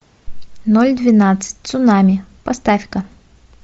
ноль двенадцать цунами поставь ка